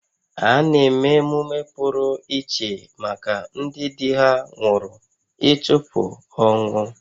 A na-eme emume pụrụ iche maka ndị di ha nwụrụ ịchụpụ ọnwụ